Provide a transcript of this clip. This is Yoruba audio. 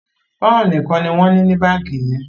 poun nìkàn ní wón ní ní bánkì yẹn